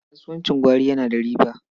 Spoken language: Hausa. Kasuwancin gwari yana da riba.